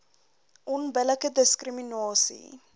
onbillike diskri minasie